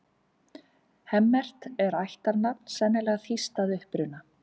Hemmert er ættarnafn, sennilega þýskt að uppruna.